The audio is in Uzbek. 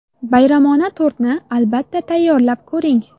Bayramona tortni, albatta, tayyorlab ko‘ring.